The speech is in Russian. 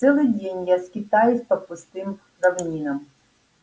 целый день я скитаюсь по пустым равнинам